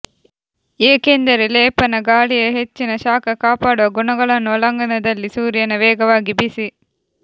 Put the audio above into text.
ಏಕೆಂದರೆ ಲೇಪನ ಗಾಳಿಯ ಹೆಚ್ಚಿನ ಶಾಖ ಕಾಪಾಡುವ ಗುಣಗಳನ್ನು ಒಳಾಂಗಣದಲ್ಲಿ ಸೂರ್ಯನ ವೇಗವಾಗಿ ಬಿಸಿ